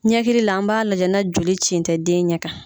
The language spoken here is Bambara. Ɲɛkili la an b'a lajɛ na joli cin tɛ den ɲɛ kan.